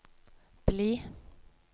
bli